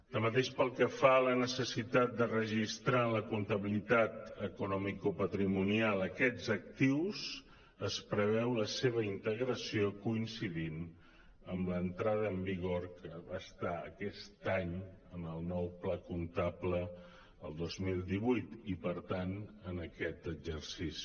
tanmateix pel que fa a la necessitat de registrar en la comptabilitat economico·patrimonial aquests actius es preveu la seva integració coincidint amb l’entrada en vigor que va estar aquest any en el nou pla comptable el dos mil divuit i per tant en aquest exercici